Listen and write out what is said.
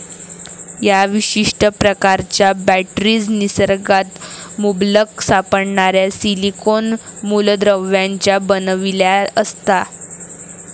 या विशिष्ट प्रकारच्या बॅटरीज निसर्गात मुबलक सापडणाऱ्या सिलीकोन मुलद्रव्यांच्या बनविल्या असता.